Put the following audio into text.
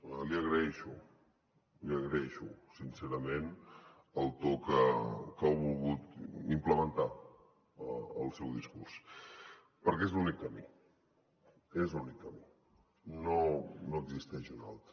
l’hi agraeixo l’hi agraeixo sincerament el to que ha volgut implementar al seu discurs perquè és l’únic camí és l’únic camí no n’hi ha un altre